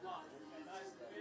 Bir dəfə yoxdur.